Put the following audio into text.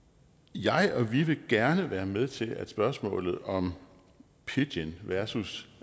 jeg og vi vil gerne være med til at spørgsmålet om pidgin versus